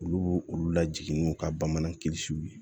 Olu olu lajigin n'u ka bamanan kilisiw ye